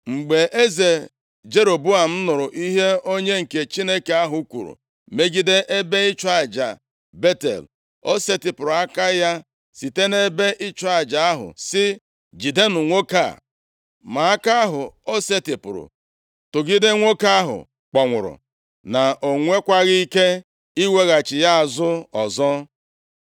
Mgbe eze Jeroboam nụrụ ihe onye nke Chineke ahụ kwuru megide ebe ịchụ aja Betel, o setịpụrụ aka ya site nʼebe ịchụ aja ahụ sị, “Jidenụ nwoke a!” Ma aka ahụ ọ setịpụrụ tụgide nwoke ahụ kpọnwụrụ na o nwekwaghị ike iweghachi ya azụ ọzọ.